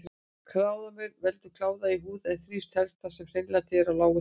Kláðamaur veldur kláða í húð en þrífst helst þar sem hreinlæti er á lágu stigi.